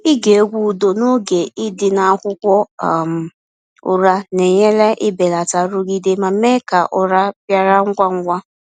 Ịge egwu udo n’oge ị dị n’akwụkwọ um ụra na-enyere belata nrụgide ma mee ka ụra bịara ngwa ngwa.